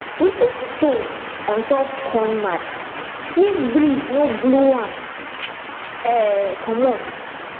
we put stone on top corn mat make breeze no blow am um comot